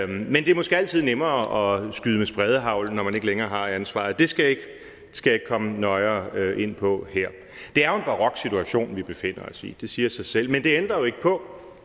men det er måske altid nemmere at skyde med spredehagl når man ikke længere har ansvaret det skal jeg ikke komme nøjere ind på her det er jo en barok situation vi befinder os i det siger sig selv men det ændrer jo ikke på